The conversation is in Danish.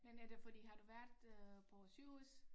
Men er det fordi har du været øh på sygehus?